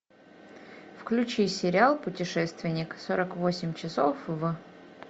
включи сериал путешественник сорок восемь часов в